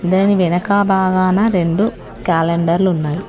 దీని వెనుక భాగాన రెండు క్యాలెండర్లు ఉన్నాయి.